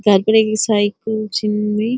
घर पर ऐक साइकिल छिन इ ।